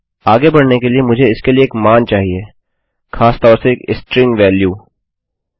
आगे बढ़ने के लिए मुझे इसके लिए एक मान चाहिए खासतौर से एक स्ट्रिंग वेल्यू मान